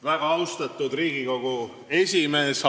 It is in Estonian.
Väga austatud Riigikogu esimees!